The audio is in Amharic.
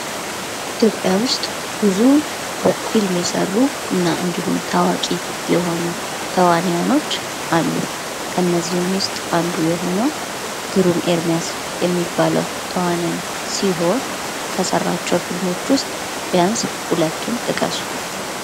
ኢትዮጵያ ዉስጥ ብዙ ፊልም የሰሩ እና እንዲሁም ታዋቂ የሆኑ ተዋኒያኖች አሉ። ከእነዚህም ዉስጥ አንዱ የሆነዉ ግሩም ኤርሚያስ የሚባለዉ ተዋናይ ሲሆን ከሰራቸዉ ፊልሞች ዉስጥ ቢያንስ ሁለቱን ጥቀሱ?